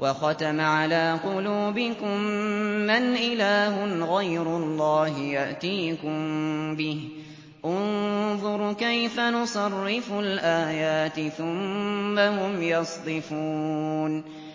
وَخَتَمَ عَلَىٰ قُلُوبِكُم مَّنْ إِلَٰهٌ غَيْرُ اللَّهِ يَأْتِيكُم بِهِ ۗ انظُرْ كَيْفَ نُصَرِّفُ الْآيَاتِ ثُمَّ هُمْ يَصْدِفُونَ